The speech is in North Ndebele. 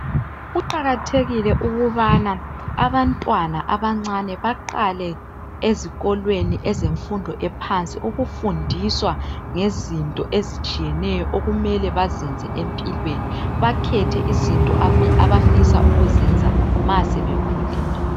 Kuqakathekile ukubana abantwana abancane baqale ezikolweni ezemfundo ephansi ukufundiswa ngezinto ezitshiyeneyo okumele bazenze empilweni bakhethe izinto abafisa ukuzenza ma sebekhulile.